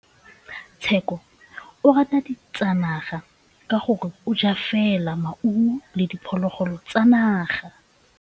Tshekô o rata ditsanaga ka gore o ja fela maungo le diphologolo tsa naga.